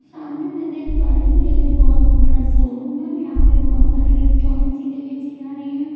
सामने मैं देख पा री हूँ यह बहुत बड़ा शोरूम है यहाँ पे बहुत सारी इलेक्ट्रॉनिक चीजे बेचीं जा रही हैं।